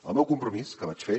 el meu compromís que vaig fer